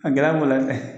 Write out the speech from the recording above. A gɛlɛya b'o la dɛ